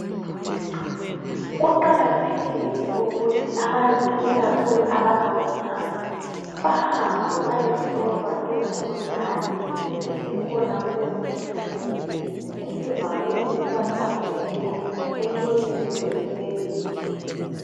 Kuqakathekile ukuthi abantu ikakhulu abangomama bahambe bayehlolwa imvukuzane .Esikhona kulezi insuku nsuku esivame ukubahlasela emlonyeni wesibeletho.